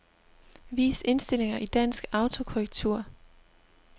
Vis indstillinger i dansk autokorrektur.